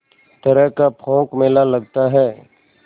तरह का पोंख मेला लगता है